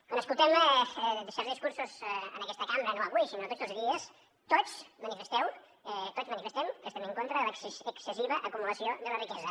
quan escoltem certs discursos en aquesta cambra no avui sinó tots els dies tots manifesteu tots manifestem que estem en contra de la excessiva acumulació de la riquesa